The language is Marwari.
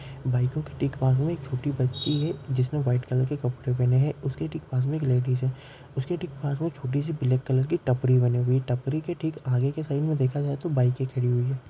बाइको के ठीक बाजू मे एक छोटी बच्ची है जिसने व्हाइट कलर के कपड़े पहने है उसके ठीक बाजू मे लेडीज है उसके ठीक पास मे एक छोटी सी ब्लैक कलर की टपरी बनी हुई है टपरी के ठीक आगए के साइड देखा जाए तो बाइके खड़ी हुई है।